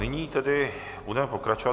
Nyní tedy budeme pokračovat.